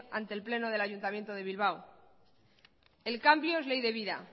ente el pleno del ayuntamiento de bilbao el cambio es ley de vida